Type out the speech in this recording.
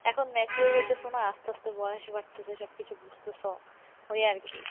এখন mature হইতেসো না আস্তে আস্তে বয়স বাড়তেছে সবকিছু বুঝতেছো ওই আর কী